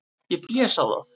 Ég blés á það.